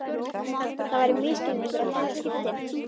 Það væri misskilningur að telja skiptin